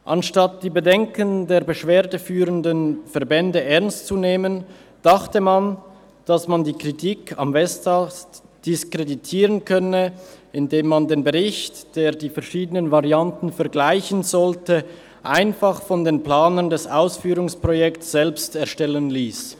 Anstatt die Bedenken der beschwerdeführenden Verbände ernst zu nehmen, dachte man, die Kritik am Westast diskreditieren zu können, indem man den Bericht, der die verschiedenen Varianten vergleichen sollte, einfach von den Planern des Ausführungsprojekts selbst erstellen lasse.